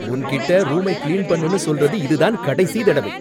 உன்கிட்ட ரூமைக் கிளீன் பண்ணுன்னு சொல்றது இதுதான் கடைசி தடவை.